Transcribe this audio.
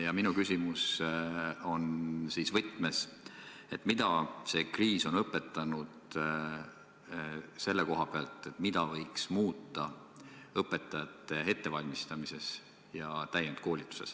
Ja minu küsimus on selles võtmes, et mida see kriis on meile õpetanud selle kohta, mida võiks muuta õpetajate ettevalmistamises ja täienduskoolituses.